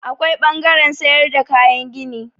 Akwai ɓangaren sayar da kayan gini.